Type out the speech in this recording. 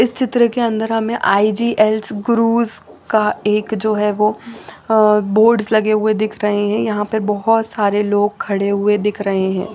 इस चित्र के अंदर हमें आई_जी_एल_स का एक जो है वो अ बोर्ड्स लगे हुए दिख रहें हैं यहाॅं पे बहोत सारे लोग खड़े हुए दिख रहे हैं।